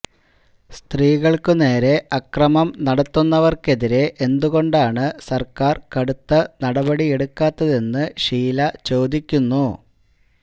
സ്ത്രീകൾക്കുനേരെ അക്രമം നടത്തുന്നവർക്കെതിരെ എന്തുകൊണ്ടാണ് സർക്കാർ കടുത്ത നടപടിയെടുക്കാത്തെതെന്ന് ഷീല ചോദിക്കുന്നു